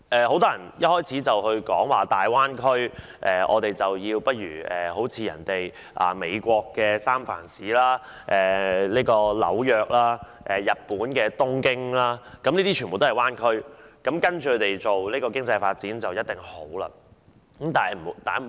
很多人一開始便指大灣區要仿效美國的三藩市灣區、紐約灣區，以及日本的東京灣區，認為只要學習該等灣區，經濟定能蓬勃發展。